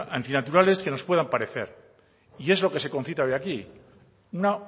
antinaturales que nos puedan parecer y es lo que se concita de aquí una